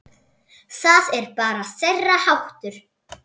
Það er bara þeirra háttur.